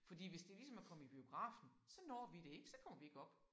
Fordi hvis det ligesom at komme i biografen så når vi det ikke. Så kommer vi ikke op